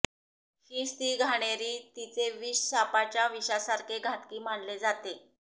हीच ती घाणेरी तिचे विष सापाच्या विषासारखे घातकी मानले जाते